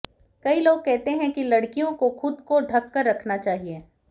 कई लोग कहते हैं कि लड़कियों को खुद को ढक कर रखना चाहिए